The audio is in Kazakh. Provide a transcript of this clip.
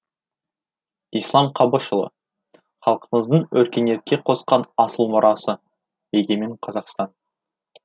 ислам қабышұлы халқымыздың өркениетке қосқан асыл мурасы егемен қазақстан